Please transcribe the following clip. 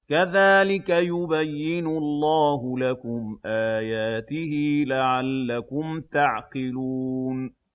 كَذَٰلِكَ يُبَيِّنُ اللَّهُ لَكُمْ آيَاتِهِ لَعَلَّكُمْ تَعْقِلُونَ